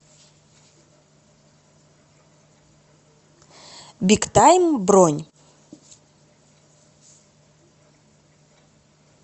биг тайм бронь